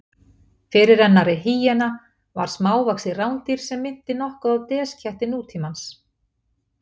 Fyrirrennari hýena var smávaxið rándýr sem minnti nokkuð á desketti nútímans.